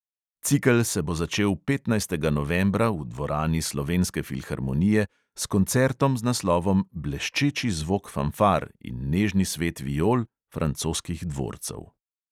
Cikel se bo začel petnajstega novembra v dvorani slovenske filharmonije s koncertom z naslovom bleščeči zvok fanfar in nežni svet viol francoskih dvorcev.